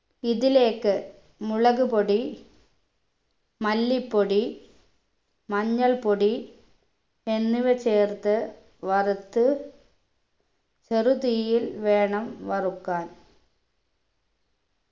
ഇതിലേക്ക് മുളകുപൊടി മല്ലിപ്പൊടി മഞ്ഞൾപ്പൊടി എന്നിവ ചേർത്ത് വറുത്ത് ചെറു തീയിൽ വേണം വറുക്കാൻ